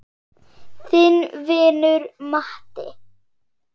Þinn vinur Matti.